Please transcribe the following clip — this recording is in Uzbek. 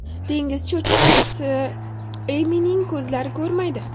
Dengiz cho‘chqachasi Emining ko‘zlari ko‘rmaydi.